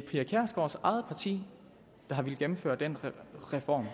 pia kjærsgaards eget parti der har villet gennemføre den reform